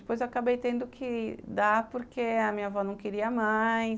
Depois eu acabei tendo que dar, porque a minha avó não queria mais.